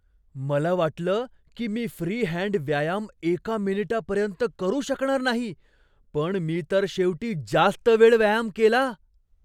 मला वाटलं की मी फ्री हँड व्यायाम एका मिनिटापर्यंत करू शकणार नाही, पण मी तर शेवटी जास्त वेळ व्यायाम केला.